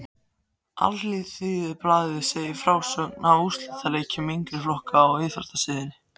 Alþýðublaðið segir í frásögn af úrslitaleikjum yngri flokkanna á íþróttasíðunni